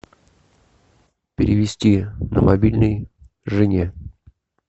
перевести на мобильный жене